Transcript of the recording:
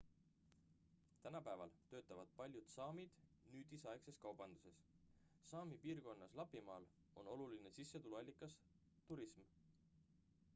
tänapäeval töötavad paljud saamid nüüdisaegses kaubanduses saami piirkonnas lapimaal on oluline sissetulekuallikas turism